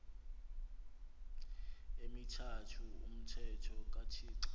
emithathu umthetho kathixo